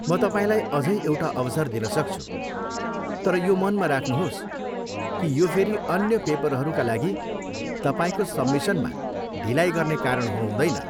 म तपाईँलाई अझै एउटा अवसर दिन सक्छु, तर यो मनमा राख्नुहोस् कि यो फेरि अन्य पेपरहरूका लागि तपाईँको सब्मिसनमा ढिलाइ गर्ने कारण हुनुहुँदैन।